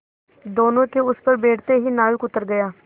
दोेनों के उस पर बैठते ही नाविक उतर गया